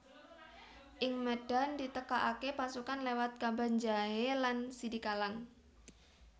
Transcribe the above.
Ing médhan ditekakaké pasukan léwat Kabanjahé lan Sidikalang